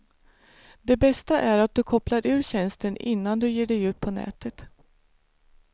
Det bästa är att du kopplar ur tjänsten innan du ger dig ut på nätet.